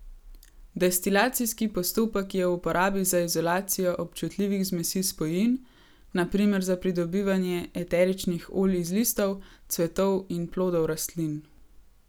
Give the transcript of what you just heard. Destilacijski postopek je v uporabi za izolacijo občutljivih zmesi spojin, na primer za pridobivanje eteričnih olj iz listov, cvetov in plodov rastlin.